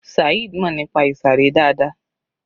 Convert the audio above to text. Saheed mọ̀ nípa ìsàré dáadáa.